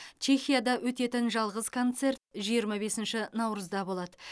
чехияда өтетін жалғыз концерт жиырма бесінші наурызда болады